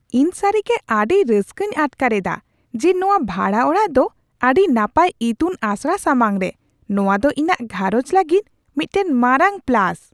ᱤᱧ ᱥᱟᱹᱨᱤᱜᱮ ᱟᱹᱰᱤ ᱨᱟᱹᱥᱠᱟᱹᱧ ᱟᱴᱠᱟᱨᱮᱫᱟ ᱡᱮ ᱱᱚᱶᱟ ᱵᱷᱟᱲᱟ ᱚᱲᱟᱜ ᱫᱚ ᱟᱹᱰᱤ ᱱᱟᱯᱟᱭ ᱤᱛᱩᱱ ᱟᱥᱲᱟ ᱥᱟᱢᱟᱝᱨᱮ ᱾ ᱱᱚᱶᱟ ᱫᱚ ᱤᱧᱟᱹᱜ ᱜᱷᱟᱨᱚᱡᱽ ᱞᱟᱹᱜᱤᱫ ᱢᱤᱫᱴᱟᱝ ᱢᱟᱨᱟᱝ ᱯᱞᱟᱥ ᱾